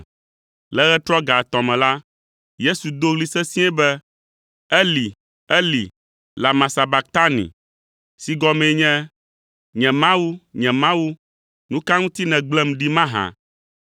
Le ɣetrɔ ga etɔ̃ me la, Yesu do ɣli sesĩe be, “Eli, Eli, lama sabaktani?” (si gɔmee nye, “Nye Mawu, nye Mawu, nu ka ŋuti nègblẽm ɖi mahã?”).